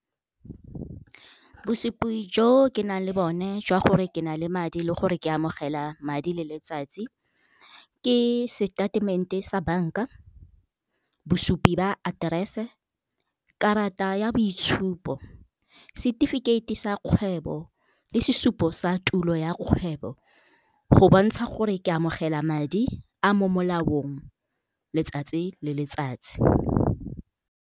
Bosupi jo ke nang le bone jwa gore ke na le madi le gore ke amogela madi le letsatsi, ke statement-e sa bank-a, bosupi ba aterese, karata ya boitshupo, setefikeiti sa kgwebo le sesupo sa tulo ya kgwebo go bontsha gore ke amogela madi a mo molaong letsatsi le letsatsi.